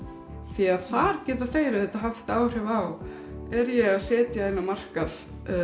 því að þar geta þeir haft áhrif á er ég að setja inn á markað